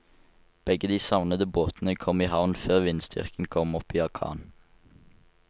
Begge de savnede båtene kom i havn før vindstyrken kom opp i orkan.